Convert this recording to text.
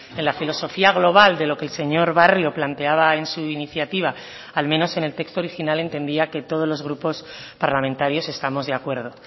en la filosofía global de lo que el señor barrio planteaba en su iniciativa al menos en el texto original entendía que todos los grupos parlamentarios estamos de acuerdo